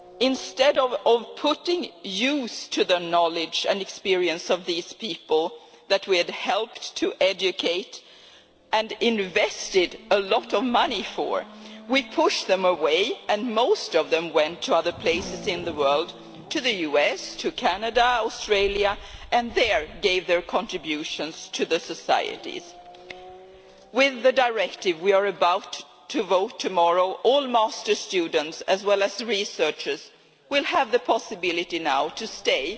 Instead of putting to use the knowledge and experience of these people whom we had helped to educate and had invested a lot of money in, we pushed them away and most of them went to other places in the world to the US, to Canada and to Australia and made their contributions to society there. With the directive we are about to vote on tomorrow, all masters students, as well as researchers, will now have the possibility to stay